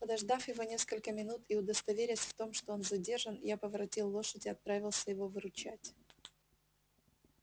подождав его несколько минут и удостоверясь в том что он задержан я поворотил лошадь и отправился его выручать